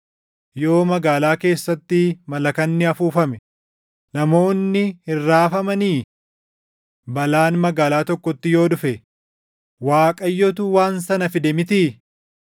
Yoo magaalaa keessatti malakanni afuufame, namoonni hin raafamanii? Balaan magaalaa tokkotti yoo dhufe, Waaqayyotu waan sana fide mitii?